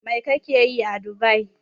Mai kake yi a Dubai?